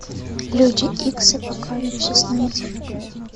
люди икс апокалипсис найди